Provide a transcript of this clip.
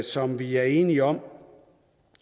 som vi er enige om